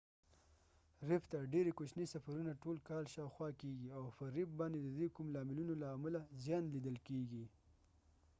ریف ته ډیری کوچنې سفرونه ټول کال شاوخوا کیږي او په ریف باندې د دې کوم لاملونو له امله زیان لیدل کیږي